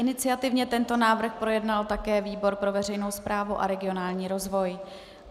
Iniciativně tento návrh projednal také výbor pro veřejnou správu a regionální rozvoj.